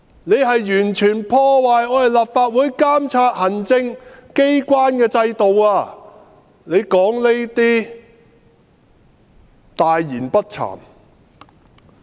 你完全破壞立法會監察行政機關的制度；你說這些話，大言不慚。